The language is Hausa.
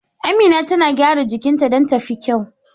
Amina tana gyara jikinta don ta fi kyau.